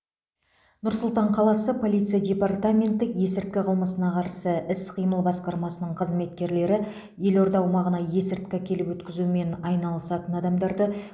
нұр сұлтан қаласы полиция департаменті есірткі қылмысына қарсы іс қимыл басқармасының қызметкерлері елорда аумағына есірткі әкеліп өткізумен айналысатын адамдарды